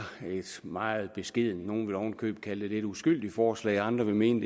et meget beskedent forslag nogle ville ovenikøbet kalde lidt uskyldigt forslag og andre ville mene